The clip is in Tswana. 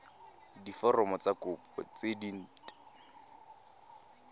diforomo tsa kopo tse dint